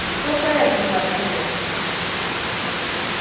всё в порядке сообщил он